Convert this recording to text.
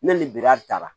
Ne ni biriya ta la